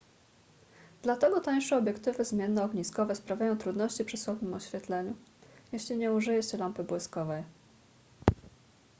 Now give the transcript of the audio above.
dlatego tańsze obiektywy zmiennoogniskowe sprawiają trudności przy słabym oświetleniu jeśli nie użyje się lampy błyskowej